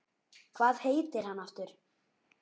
Hvað heitir hann aftur?